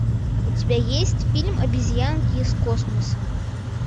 у тебя есть фильм обезьянки из космоса